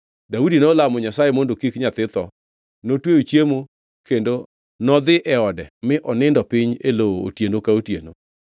Daudi nolamo Nyasaye mondo kik nyathi tho. Notweyo chiemo kendo nodhi e ode mi onindo piny e lowo otieno ka otieno.